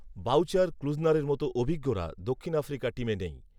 voucher ক্লুজনারের মতো অভিজ্ঞরা দক্ষিণ আফ্রিকা টিমে নেই